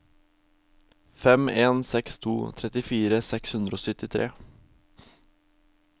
fem en seks to trettifire seks hundre og syttitre